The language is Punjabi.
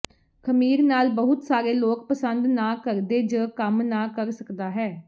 ਖਮੀਰ ਨਾਲ ਬਹੁਤ ਸਾਰੇ ਲੋਕ ਪਸੰਦ ਨਾ ਕਰਦੇ ਜ ਕੰਮ ਨਾ ਕਰ ਸਕਦਾ ਹੈ